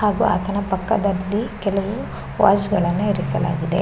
ಹಾಗು ಆತನ ಪಕ್ಕದಲ್ಲಿ ಕೆಲವು ವಾಸ್ ಗಳನ್ನಾ ಇರಿಸಲಾಗಿದೆ.